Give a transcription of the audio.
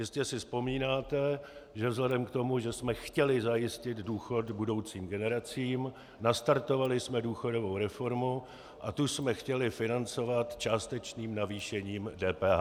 Jistě si vzpomínáte, že vzhledem k tomu, že jsme chtěli zajistit důchod budoucím generacím, nastartovali jsme důchodovou reformu a tu jsme chtěli financovat částečným navýšením DPH.